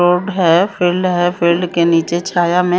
लोग है फील्ड है फील्ड के नीचे छाया में--